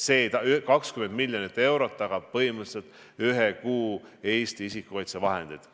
See 20 miljonit eurot tagab põhimõtteliselt ühe kuu isikukaitsevahendid.